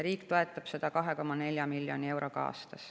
Riik toetab seda 2,4 miljoni euroga aastas.